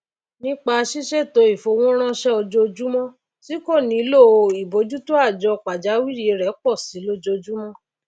nípa sísètò ìfowóránsé ojojúmó tí kò nílò ìbójútóàjọ pàjáwìrì rè pòsi lójojúmó